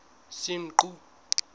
senqu